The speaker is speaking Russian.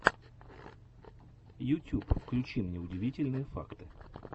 ютюб включи мне удивительные факты